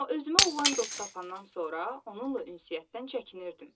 Amma özümə olan dost tapanandan sonra onunla ünsiyyətdən çəkinirdim.